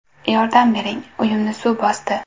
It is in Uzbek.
Yordam bering, uyimni suv bosdi!”.